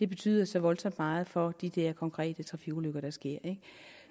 betyder så voldsomt meget for de der konkrete trafikulykker der sker